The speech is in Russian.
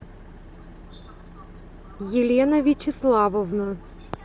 елена вячеславовна